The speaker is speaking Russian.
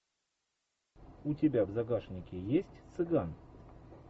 у тебя в загашнике есть цыган